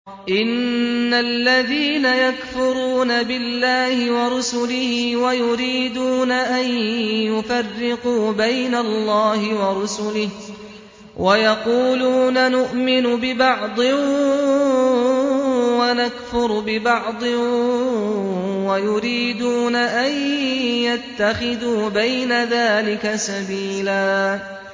إِنَّ الَّذِينَ يَكْفُرُونَ بِاللَّهِ وَرُسُلِهِ وَيُرِيدُونَ أَن يُفَرِّقُوا بَيْنَ اللَّهِ وَرُسُلِهِ وَيَقُولُونَ نُؤْمِنُ بِبَعْضٍ وَنَكْفُرُ بِبَعْضٍ وَيُرِيدُونَ أَن يَتَّخِذُوا بَيْنَ ذَٰلِكَ سَبِيلًا